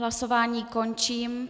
Hlasování končím.